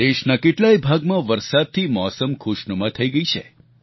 દેશના કેટલાય ભાગમાં વરસાદથી મોસમ ખુશનુમા થઈ ગઈ છે